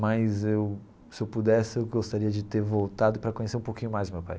Mas, eu se eu pudesse, eu gostaria de ter voltado para conhecer um pouquinho mais meu pai.